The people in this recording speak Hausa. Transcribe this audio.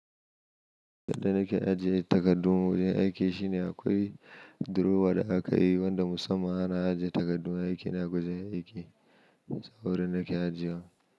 Yadda nake ajiye takardu wurin aiki shine akwai durowa da aka yi wanda musamman ana ajiye takardu aiki na gujen aiki. So wurin nake ajiyewa.